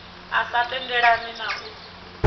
a sa tendelani na u